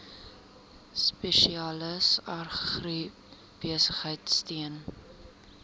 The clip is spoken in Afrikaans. spesialis agribesigheid steun